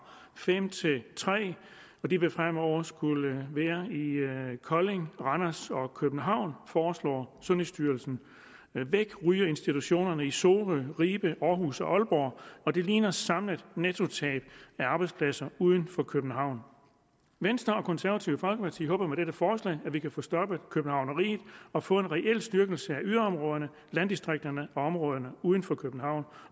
fem til tre og de vil fremover skulle være i kolding randers og københavn foreslår sundhedsstyrelsen væk ryger institutionerne i sorø ribe århus og aalborg og det ligner et samlet nettotab af arbejdspladser uden for københavn venstre og det konservative folkeparti håber med dette forslag at vi kan få stoppet københavneriet og få en reel styrkelse af yderområderne landdistrikterne og områderne uden for københavn